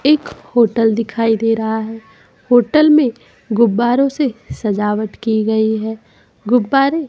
एक होटल दिखाई दे रहा है होटल में गुब्बारों से सजावट की गई है गुब्बारे--